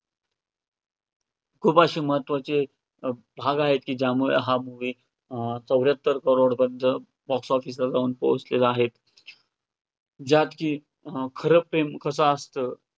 खूप असे महत्वाचे भाग आहे, की ज्यामुळे हा movie अं चौऱ्याहत्तर crores पर्यंत box office वर जाऊन पोहचलेला आहे, ज्यात की खरं प्रेम कसं असतं.